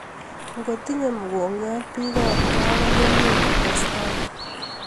Ngoo tinye mogongiot biik ab kaa konyumnyum kotestai